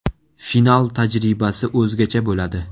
Final tajribasi o‘zgacha bo‘ladi.